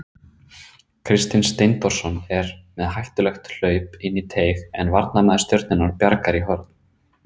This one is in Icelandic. Kristinn Steindórsson er með hættulegt hlaup inn í teig en varnarmaður Stjörnunnar bjargar í horn.